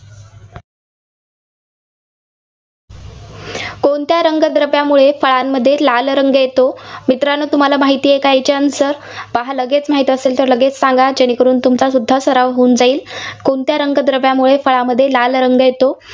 कोणता रंगद्रव्यामुळे फळामध्ये लाल रंग येतो? मित्रांनो तुम्हाला माहितेय की याचे answer तर हा लगेच माहिती असेल तर लगेच सांगा. जेणे करून तुमचासुद्धा सराव होईल. कोणत्या रंगद्रव्यामुळे फळांमध्ये लाल रंग येतो?